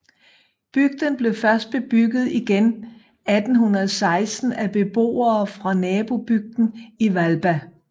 Bygden blev først bebygget igen 1816 af beboere fra nabobygden Hvalba